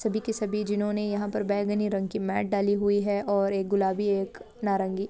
सभी के सभी जिन्होंने यहाँ पर डाली हुई है और गुलाबी और एक नारंगी।